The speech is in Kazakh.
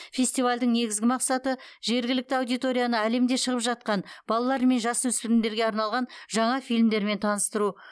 фестивальдің негізгі мақсаты жергілікті аудиторияны әлемде шығып жатқан балалар мен жасөспірімдерге арналған жаңа фильмдермен таныстыру